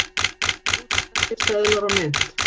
Rússneskir seðlar og mynt.